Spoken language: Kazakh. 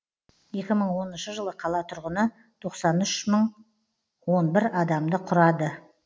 екі мың оныншы жылы қала тұрғыны тоқсан үш мың он бір адамды құрады